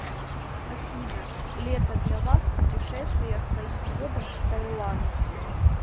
афина лето для вас путешествия своим ходом в таиланд